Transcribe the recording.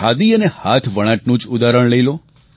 ખાદી અને હાથવણાટનું જ ઉદાહરણ લઈ લો